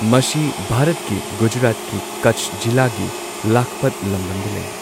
ꯃꯁꯤ ꯚꯥꯔꯠꯀꯤ ꯒꯨꯖꯔꯥꯠꯀꯤ ꯀꯆ ꯖꯤꯂꯥꯒꯤ ꯂꯈꯄꯠ ꯂꯝꯗꯝꯗ ꯂꯩ꯫